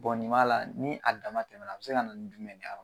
nin m'a la ni a dama tɛmɛna a bi se ka na ni jumɛn de y'a kɔnɔ ?